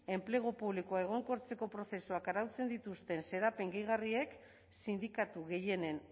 enplegu publikoa egonkortzeko prozesuak arautzen dituzten xedapen gehigarriek sindikatu gehienen